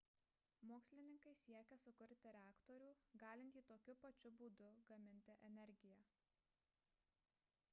mokslininkai siekia sukurti reaktorių galintį tokiu pačiu būdu gaminti energiją